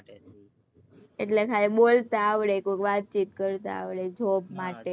એટલે ખાલી બોલેતા અવળે કોક વાતચીત કરતા આવડે job માટે